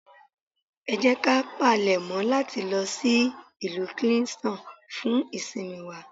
Ẹ jẹ́ ká palèmọ́ láti lọ sí ìlú Kingston fún ìsinmi wa.